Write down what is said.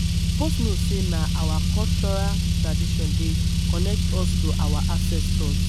You suppose know sey na our cultural traditions dey connect us to our ancestors.